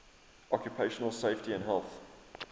occupational safety and health